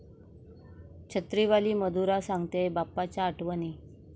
छत्रीवाली मधुरा सांगतेय बाप्पाच्या आठवणी